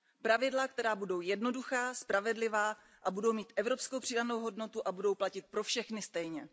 Pravidla, která budou jednoduchá, spravedlivá a budou mít evropskou přidanou hodnotu a budou platit pro všechny stejně.